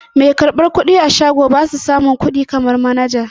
Mai karɓar kuɗi a shago basu samin kuɗi kaman manaja.